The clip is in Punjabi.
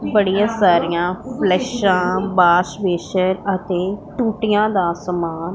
ਬੜੀਆਂ ਸਾਰੀਆਂ ਫਲਸ਼ਾਂ ਬਾਸ ਬੇਸਨ ਅਤੇ ਟੂਟੀਆਂ ਦਾ ਸਮਾਨ--